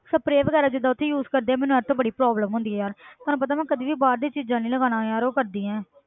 Spray ਵਗ਼ੈਰਾ ਜਿੱਦਾਂ ਉੱਥੇ use ਕਰਦੇ ਆ ਮੈਨੂੰ ਇਹ ਤੋਂ ਬੜੀ problem ਹੁੰਦੀ ਹੈ ਯਾਰ ਤੈਨੂੰ ਪਤਾ ਮੈਂ ਕਦੇ ਵੀ ਬਾਹਰ ਦੀ ਚੀਜ਼ਾਂ ਨੀ ਲਗਾਉਣਾ ਯਾਰ, ਉਹ ਕਰਦੀਆਂ